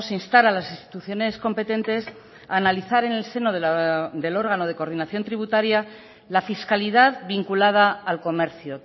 instar a las instituciones competentes a analizar en el seno del órgano de coordinación tributaria la fiscalidad vinculada al comercio